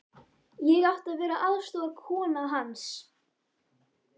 Ég átti að vera aðstoðarkona hans.